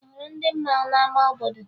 Ị hụrụ ndị mmanwụ n'ama obodo?